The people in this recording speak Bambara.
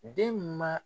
Den ma